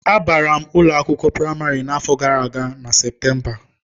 Abara m ụlọ akwụkwọ praịmarị n'afọ gara aga na Septemba.